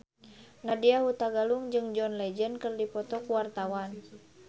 Nadya Hutagalung jeung John Legend keur dipoto ku wartawan